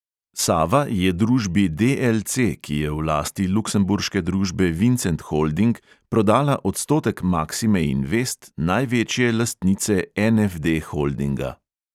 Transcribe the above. Sava je družbi DLC, ki je v lasti luksemburške družbe vincent holding, prodala odstotek maksime invest, največje lastnice NFD holdinga.